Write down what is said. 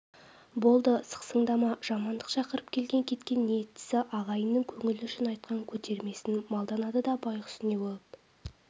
болды сықсыңдама жамандық шақырып келген-кеткен ниеттесі ағайынның көңілі үшін айтқан көтермесін малданады да байқұс не болып